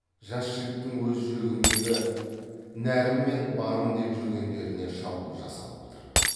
жас жігіттің өз жүрегіндегі нәрім мен барым деп жүргендеріне шабуыл жасалып отыр